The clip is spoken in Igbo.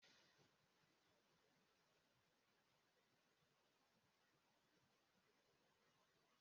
Ịkụ aka n'uzo bụ emume mbụ ezinaụlọ nwoke na-achọ ịlụ nwaayị na-eme iji gosi mmasị ya n'ahụ nwagbọghọ.